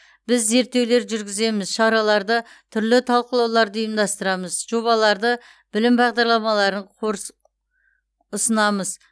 біз зерттеулер жүргіземіз шараларды түрлі талқылауларды ұйымдастырамыз жобаларды білім бағдарламаларын қорс ұсынамыз